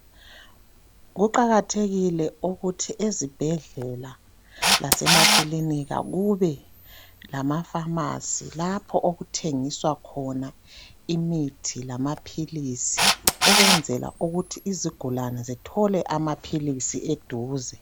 kuqakathekile ukuthi ezibhedlela lasemakilinika kube lamaphamarcy lapho okuthengiswa khona imithi lamaphilisi ukwenzela ukuthi izigulane zithole amaphilisi eduze